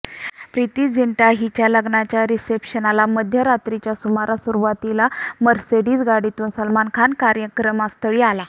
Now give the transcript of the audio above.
प्रिती झिंटा हिच्या लग्नाच्या रिसेप्शनला मध्यरात्रीच्या सुमारास सुरूवातीला मर्सिडीज गाडीतून सलमान खान कार्यक्रमस्थळी आला